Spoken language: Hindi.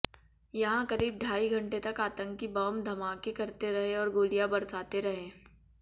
यहां करीब ढाई घंटे तक आतंकी बम धमाके करते रहे और गोलियां बरसाते रहे